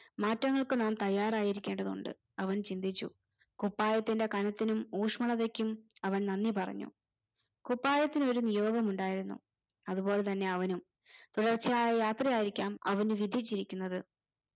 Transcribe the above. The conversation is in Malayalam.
മാറ്റങ്ങൾക്ക് നാം തയ്യാറായിരിക്കേണ്ടതുണ്ട് അവൻ ചിന്തിച്ചു കുപ്പായത്തിന്റെ കനത്തിനും ഊഷ്മളതയ്ക്കും അവൻ നന്ദി പറഞ്ഞു കുപ്പായത്തിന് ഒരു നിയോഗമുണ്ടായിരുന്നു അതുപോലെ തന്നെ അവനും തുടർച്ചയായ യാത്രയായിരിക്കാം അവന് വിധിച്ചിരിക്കുന്നത്